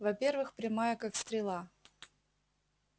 во-первых прямая как стрела